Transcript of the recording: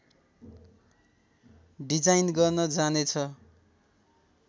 design गर्न जाने छ